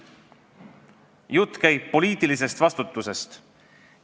Jutt käib poliitilisest vastutusest.